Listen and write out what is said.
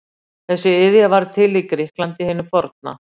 þessi iðja varð til í grikklandi hinu forna